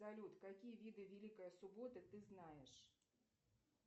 салют какие виды великая суббота ты знаешь